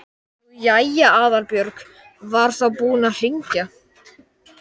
Nú jæja, Aðalbjörg var þá búin að hringja.